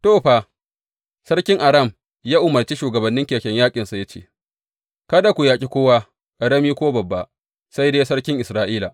To, fa, sarkin Aram ya umarce shugabannin keken yaƙinsa ya ce, Kada ku yaƙi kowa, ƙarami ko babba, sai dai sarkin Isra’ila.